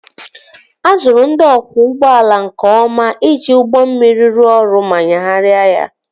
A zụrụ ndị ọkwọ ụgbọala nke ọma iji ụgbọ mmiri rụọ ọrụ ma nyagharịa ya